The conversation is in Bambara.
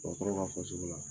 Dɔgɔtɔrɔw k'a fɔ cogo la.